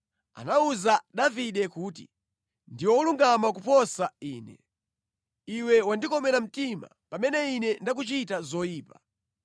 Anawuza Davide kuti, “Ndiwe wolungama kuposa ine. Iwe wandikomera mtima pamene ine ndakuchitira zoyipa.